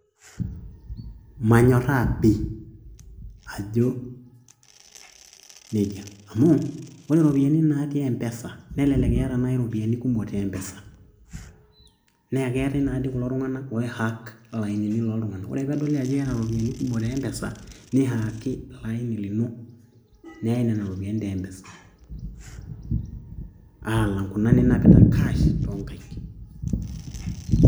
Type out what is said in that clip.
Manyoraa pi ajo nejia amu ore iropiyiani naatii empesa nelelek iyata nai iropiyiani kumok te mpesa nee keetae naa dii kulo tunganak oi hack ilainini loo ntunganak ore pee edoli ajo iyata iropiyiani kumok te mpesa nihaaki ilo aini lino neyai nena ropiyiani te mpesa alang kuna ninapita cash too nkaik.